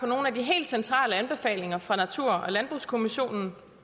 nogle af de helt centrale anbefalinger fra natur og landbrugskommissionen